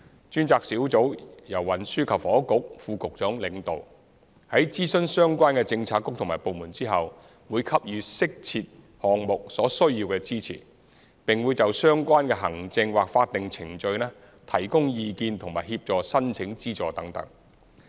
專責小組由運輸及房屋局副局長領導，在諮詢相關的政策局和部門後，會給予適切項目所需要的支持，並會就相關的行政或法定程序提供意見和協助申請資助等。